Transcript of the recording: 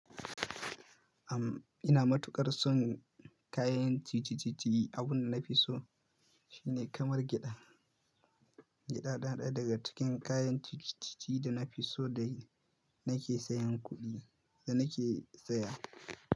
Am, ina matuƙar son kayan ci ci ci ci. Abin da na fi so shine kamar gyaɗa. Gyaɗa na ɗaya daga cikin kayan ci ci ci ci da na fi so da nake sayan kuɗi da nake saya.